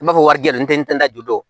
I b'a fɔ wari di yantentu do